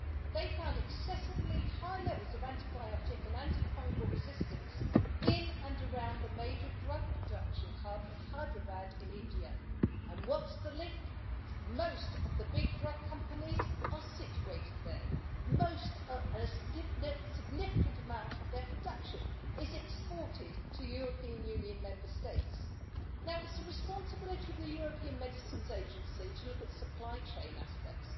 They found excessively high levels of antibiotic and anti fungal resistance in and around the major drug production hub of Hyderabad in India and what's the link? Most of the big drug companies are situated there and a significant amount of their production is exported to European Union Member States. Now, it is the responsibility of the European Medicines Agency to look at supply chain aspects.